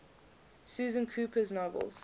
susan cooper's novels